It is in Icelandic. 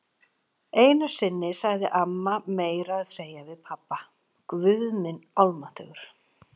Einu sinni sagði amma meira að segja við pabba: Guð minn almáttugur.